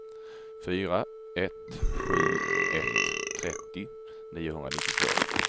fyra ett sju ett trettio niohundranittiotvå